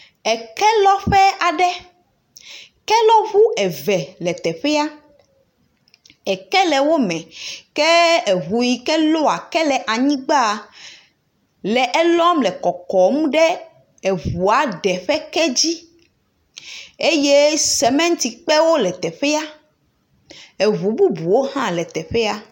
Ekelɔƒe aɖe, kelɔŋu eve le teƒea, eke le wo me ke eŋu yike lɔa eke le anyigbaaa lɔ eke le ƒoƒom ɖe aŋua ɖe ƒe dzi eye semetikpewo le teƒea, eŋu bubuwo le teƒea,